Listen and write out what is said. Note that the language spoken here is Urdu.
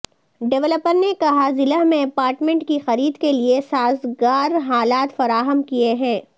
ڈویلپر نے کہا ضلع میں اپارٹمنٹ کی خرید کے لیے سازگار حالات فراہم کیے ہیں